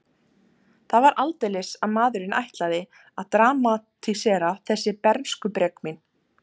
Það var aldeilis að maðurinn ætlaði að dramatísera þessi bernskubrek mín.